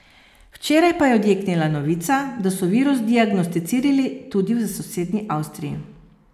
Včeraj pa je odjeknila novica, da so virus diagnosticirali tudi v sosednji Avstriji.